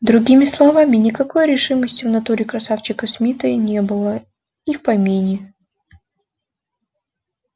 другими словами никакой решимости в натуре красавчика смита и не было и в помине